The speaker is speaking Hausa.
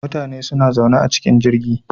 Mutane suna zaune a cikin jirgin